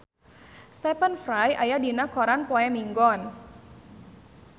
Stephen Fry aya dina koran poe Minggon